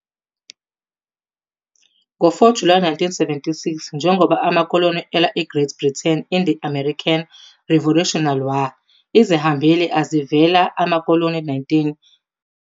Ngo 4 July 1776, njengoba amakoloni elwa Great Britain in the American Revolutionary War, izihambeli ezivela amakoloni 13 eyakhishwa ngazwilinye Declaration of Independence.